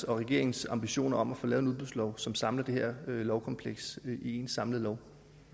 regeringens ambitioner om at få lavet en udbudslov som samler det her lovkompleks i en samlet lov